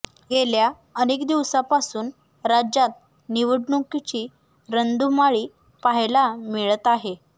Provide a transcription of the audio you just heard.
गेल्या अनेक दिवसांपासून राज्यात निवडणुकीची रणधुमाळी पाहायला मिळत आहे